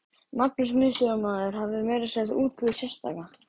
Magnús miðstjórnarmaður hafði meira að segja útbúið sérstaka